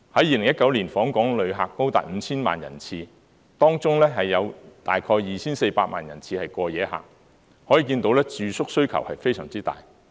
2019年的訪港旅客高達 5,000 萬人次，當中有大約 2,400 萬人次是過夜旅客，可見住宿需要非常大。